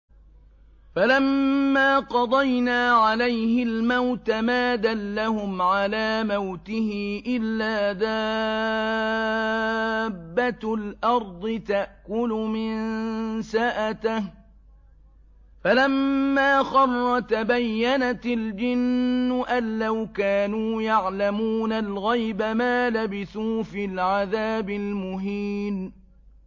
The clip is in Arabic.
فَلَمَّا قَضَيْنَا عَلَيْهِ الْمَوْتَ مَا دَلَّهُمْ عَلَىٰ مَوْتِهِ إِلَّا دَابَّةُ الْأَرْضِ تَأْكُلُ مِنسَأَتَهُ ۖ فَلَمَّا خَرَّ تَبَيَّنَتِ الْجِنُّ أَن لَّوْ كَانُوا يَعْلَمُونَ الْغَيْبَ مَا لَبِثُوا فِي الْعَذَابِ الْمُهِينِ